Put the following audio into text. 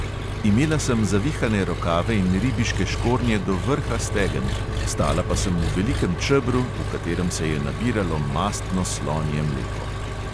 Imela sem zavihane rokave in ribiške škornje do vrha stegen, stala pa sem v velikem čebru, v katerem se je nabiralo mastno slonje mleko.